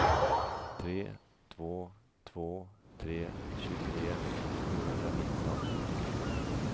tre två två tre tjugotre sjuhundranitton